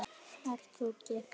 Ert þú giftur?